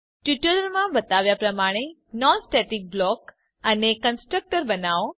tutorial માં બતાવ્યા પ્રમાણે નોન સ્ટેટિક બ્લોક અને કન્સ્ટ્રક્ટર બનાવો